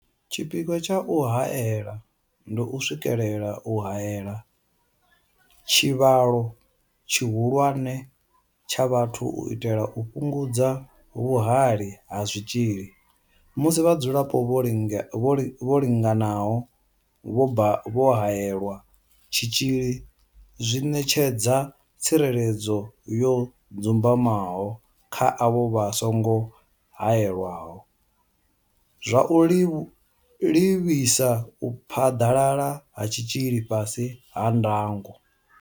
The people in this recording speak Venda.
Tshipikwa tsha u haela ndi u swikelela u haela tshivhalo tshihulwane tsha vhathu u itela u fhungudza vhuhali ha zwitzhili musi vhadzulapo vho linganaho vho haelelwa tshitzhili zwi ṋetshedza tsireledzo yo dzumbamaho kha avho vha songo haelwaho, zwa u livhisa u phaḓalala ha tshitzhili fhasi ha ndango.